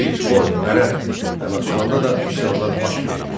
Təbriz, Xoy, Mərənd və Naxçıvanda da üsyanlar baş verdi.